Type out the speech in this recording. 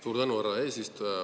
Suur tänu, härra eesistuja!